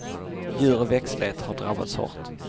Djur och växtlighet har drabbats hårt.